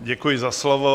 Děkuji za slovo.